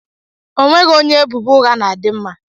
Onweghi onye ebubo ugha na-adi mma.